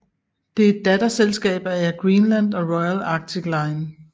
Det er et datterselskab af Air Greenland og Royal Arctic Line